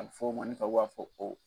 A bɛ fɔ o ma ni tubabuw b'a fɔ ko